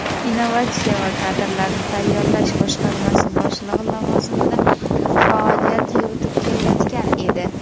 innovatsiya va kadrlarni tayyorlash boshqarmasi boshlig‘i lavozimida faoliyat yuritib kelayotgan edi.